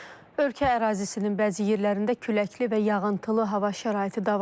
Ölkə ərazisinin bəzi yerlərində küləkli və yağıntılı hava şəraiti davam edir.